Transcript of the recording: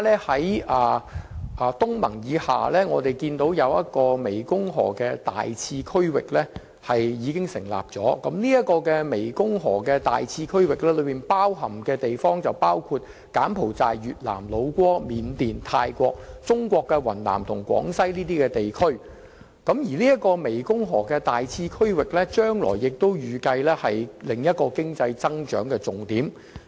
除東盟以外，有關國家及地區亦成立了大湄公河次區域，所涵蓋的地方包括柬埔寨、越南、老撾、緬甸、泰國、中國的雲南及廣西等地區，預計大湄公河次區域將成為另一個經濟增長的重點。